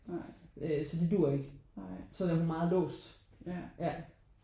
Øh så det duer ikke så der er hun meget låst ja